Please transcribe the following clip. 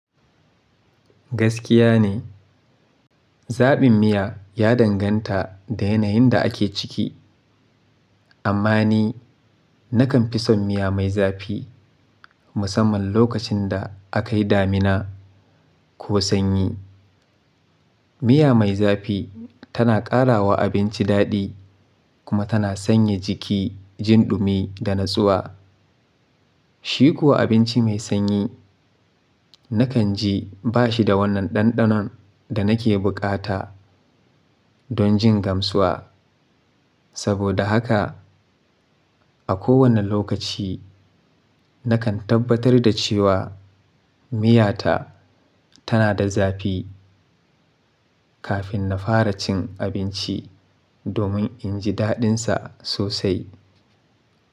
Gaskiya ne, zaɓin miya ya danganta da yanayin da ake ciki. Amma ni nakan fi son miya mai zafi musamman lokacin da akayi damina ko sanyi. Miya mai zafi tana karawa abinci daɗi kuma tana sanya jiki jin ɗumi da natsuwa. Shi kuwa abinci mai sanyi nakan ji ba shi da wannan ɗanɗanon da nake bukata don jin gamsuwa. Saboda haka a kowane lokaci nakan tabbatar da cewa miyata tana da zafi kafin na fara cin abinci domin in ji daɗinsa sosai.